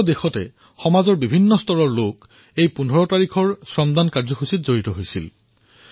দেশৰ বিভিন্ন প্ৰান্তৰ লোকে ১৫ তাৰিখে এই শ্ৰমদানৰ সৈতে জড়িত হল